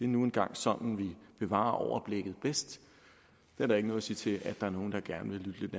nu engang sådanvi bevarer overblikket bedst det er der ikke noget at sige til at der er nogle der gerne vil